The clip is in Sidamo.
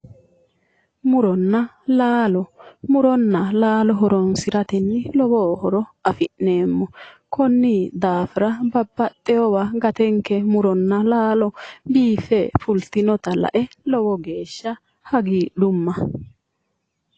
Muronna laalo. Muronna laalo horoonsiratenni lowo horo afi'neemmo. Konni daafira babbaxxiwowa gatenke muronna laalo biiffe fultinota lae lowo geeshsha hagiidhumma.